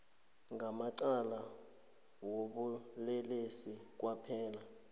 ngamacala wobulelesi kwaphela